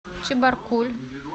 чебаркуль